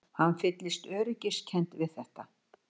Hann fyllist öryggiskennd við þetta.